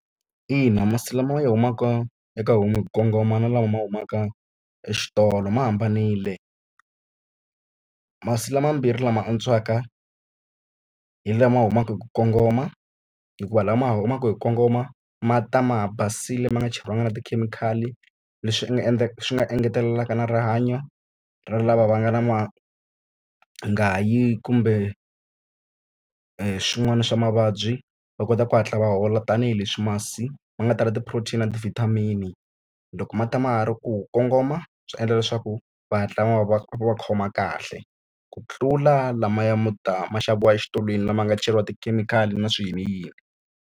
Ina masi lama humaka eka homu hi ku kongoma na lama humaka exitolo ma hambanile. Masi lama mambirhi lama antswaka hi lama humaka hi ku kongoma hikuva lama humaka hi ku kongoma ma ta ma ha basile ma nga cheriwanga na tikhemikhali. Leswi nga swi nga engetelelaka na rihanyo ra lava va nga na mangayi kumbe swin'wana swa mavabyi. Va kota ku hatla va hola tanihileswi masi ma nga tala ti-protein na ti-vitamin-i. Loko ma ta ma ha ri ku kongoma swi endla leswaku va hatla ma va va va khoma kahle. Ku tlula lamaya ma ta ma xaviwa exitolo, lama nga cheriwa tikhemikhali na swiyiniyini.